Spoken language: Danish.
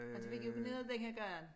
At vi kunne gå ned af den her gaden